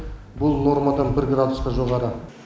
бұл нормадан бір градусқа жоғары